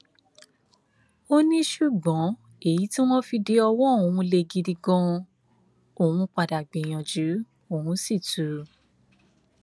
ó ní ṣùgbọn èyí tí wọn fi de ọwọ òun lè gidi ganan òun padà gbìyànjú òun sì tù ú